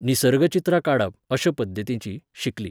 निसर्ग चित्रां काडप, अशें पद्दतीचीं, शिकलीं